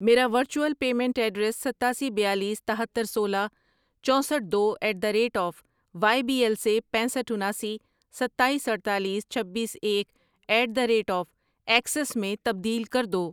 میرا virtual payment address ستاسی، بیالیس، تہتر، سولہ، چوسٹھ ،دو at the rate of Y B L سے پینسٹھ ،اناسی، ستایس، اڈتالیس، چھبیس، ایک at the rate of Axis میں تبدیل کر دو۔